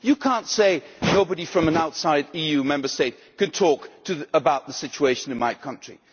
You cannot say nobody from an outside EU Member State can talk about the situation in my country'.